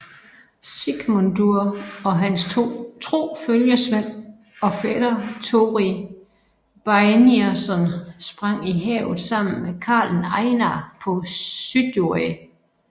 Sigmundur og hans tro følgesvend og fætter Tóri Beinirsson sprang i havet sammen med karlen Einar på Suðuroy